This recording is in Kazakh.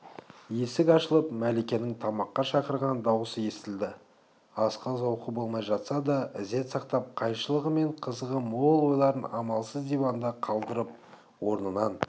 есік ашылып мәликенің тамаққа шақырған даусы естілді асқа зауқы болмай жатса да ізет сақтап қайшылығы мен қызығы мол ойларын амалсыз диванда қалдырып орнынан